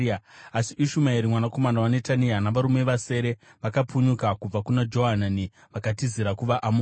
Asi Ishumaeri mwanakomana waNetania navarume vasere vakapunyuka kubva kuna Johanani vakatizira kuvaAmoni.